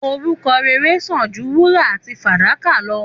Òrúkò rẹrẹ san jú wúrà àtí fàdàkà lọ